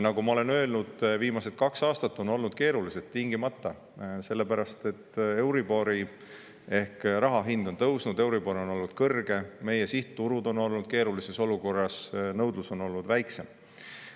Nagu ma olen öelnud, viimased kaks aastat on olnud keerulised, tingimata, sellepärast et euribor ehk raha hind on tõusnud, euribor on olnud kõrge, meie sihtturud on olnud keerulises olukorras, nõudlus on olnud väiksem.